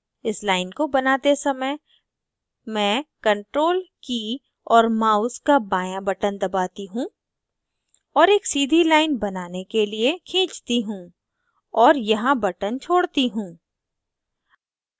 इस line को बनाते समय मैं ctrl की और mouse का बायाँ button दबाती हूँ और एक सीधी line बनाने के लिए खींचती हूँ और यहाँ button छोड़ती हूँ